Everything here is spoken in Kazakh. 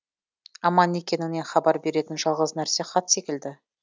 аман екеніңнен хабар беретін жалғыз нәрсе хат секілді